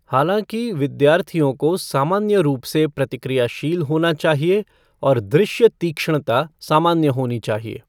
हालांकि, विद्यार्थियों को सामान्य रूप से प्रतिक्रियाशील होना चाहिए, और दृश्य तीक्ष्णता सामान्य होनी चाहिए।